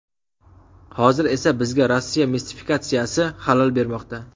Hozir esa bizga Rossiya mistifikatsiyasi xalal bermoqda.